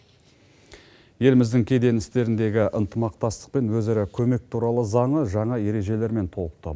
еліміздің кеден істеріндегі ынтымақтастық пен өзара көмек туралы заңы жаңа ережелермен толықты